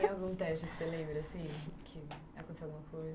Tem algum teste que você lembra, assim, que aconteceu alguma coisa?